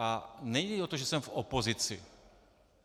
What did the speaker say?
A nejde o to, že jsem v opozici.